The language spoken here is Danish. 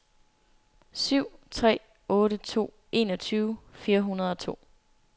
syv tre otte to enogtyve fire hundrede og to